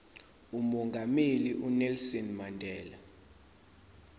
umongameli unelson mandela